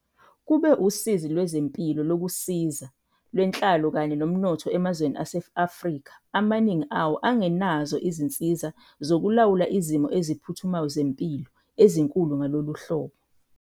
Kube usizi lwezempilo, lokusiza, lwenhlalo kanye nomnotho emazweni ase-Afrika, amaningi awo angenazo izinsiza zokulawula izimo eziphuthumayo zempilo ezinkulu ngalolu hlobo.